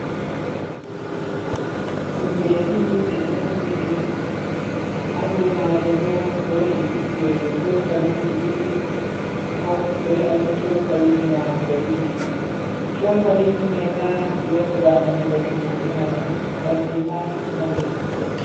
Tummude Didi (2) de do lumbindiri. Ha dou maaje bo, wodi cokaliji didi fuck be ainihi cokaliji nyamugo didi. Cokaliji mai ma di wadirama daga tummude mai on. Kanji ma nonde tummude mai.